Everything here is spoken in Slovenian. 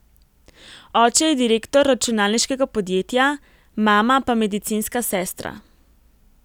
Oče je direktor računalniškega podjetja, mama pa medicinska sestra.